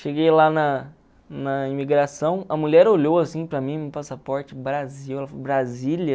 Cheguei lá na na imigração, a mulher olhou assim para mim, meu passaporte, Brasil, ela falou Brasília...